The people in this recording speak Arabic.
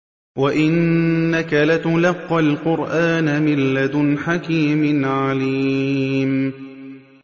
وَإِنَّكَ لَتُلَقَّى الْقُرْآنَ مِن لَّدُنْ حَكِيمٍ عَلِيمٍ